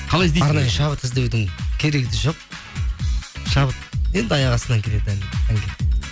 қалай іздейсің арнайы шабыт іздеудің керегі де жоқ шабыт енді аяқ астынан келеді әнге